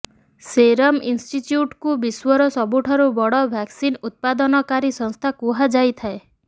Serum ଇନ୍ଷ୍ଟିଟ୍ୟଟ୍କୁ ବିଶ୍ୱର ସବୁଠାରୁ ବଡ଼ ଭ୍ୟାକ୍ସିନ୍ ଉତ୍ପାଦନକାରୀ ସଂସ୍ଥା କୁହାଯାଇଥାଏ